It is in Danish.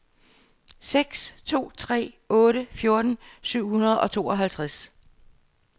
seks to tre otte fjorten syv hundrede og tooghalvtreds